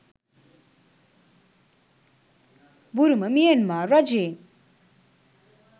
බුරුම Myanmar රජයෙන්